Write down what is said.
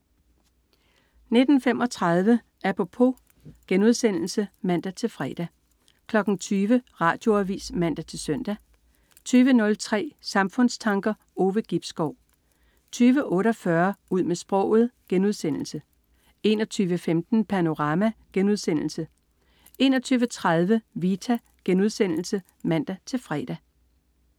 19.35 Apropos* (man-fre) 20.00 Radioavis (man-søn) 20.03 Samfundstanker. Ove Gibskov 20.48 Ud med sproget* 21.15 Panorama* 21.30 Vita* (man-fre)